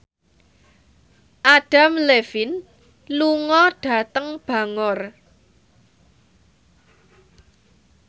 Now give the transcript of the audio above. Adam Levine lunga dhateng Bangor